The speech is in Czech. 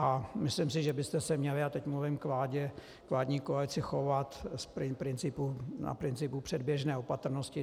A myslím si, že byste se měli - a teď mluvím k vládě, k vládní koalici - chovat na principu předběžné opatrnosti.